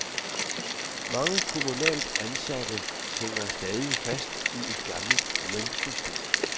Mange kommunalt ansatte hænger stadig fast i et gamle lønsystem.